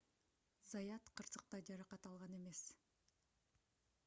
заят кырсыкта жаракат алган эмес